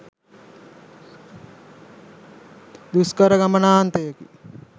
දුෂ්කර ගමනාන්තයකි.